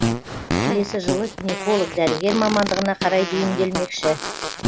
келесі жылы гинеколог дәрігер мамандығына қарай бейімделмекші